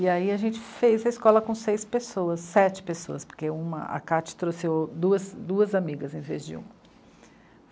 E aí a gente fez a escola com seis pessoas, sete pessoas, porque uma, a Cate trouxe duas, duas amigas em vez de uma.